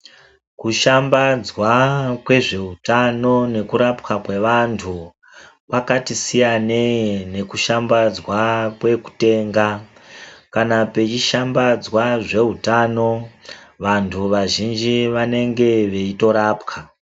Kushambadzwa kwezvewutano nekurapwa kwevantu, pakati siyaneyi nekushambadzwa kwekutenga. Kana pechishambadzwa zvewutano, vantu vazhinji vanenge veyitorapwa.